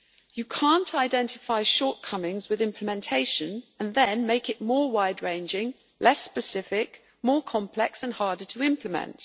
You cannot identify shortcomings with implementation and then make it more wide-ranging, less specific, more complex and harder to implement.